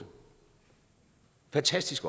fantastisk